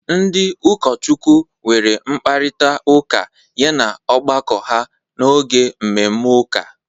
Ndị ụkọchukwu nwere mkparịta ụka yana ọgbakọ ha n'oge mmemme ụka.